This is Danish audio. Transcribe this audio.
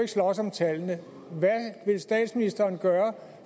slås om tallene hvad vil statsministeren gøre